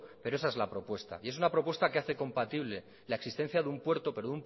pero esa es la propuesta y es una propuesta que hace compatible la existencia de un puerto pero